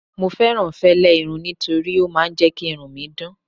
mo fẹràn fẹlẹ irun nitori o ma n je ki irun mi dan